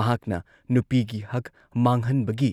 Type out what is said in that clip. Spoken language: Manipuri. ꯃꯍꯥꯛꯅ ꯅꯨꯄꯤꯒꯤ ꯍꯛ ꯃꯥꯡꯍꯟꯕꯒꯤ